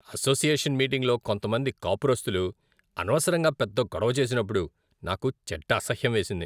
Association మీటింగులో కొంతమంది కాపురస్తులు అనవసరంగా పెద్ద గొడవ చేసినప్పుడు నాకు చెడ్డ అసహ్యం వేసింది.